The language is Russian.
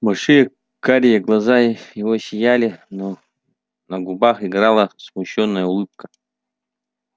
большие карие глаза его сияли но на губах играла смущённая улыбка